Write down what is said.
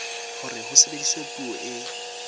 hore ho sebediswe puo e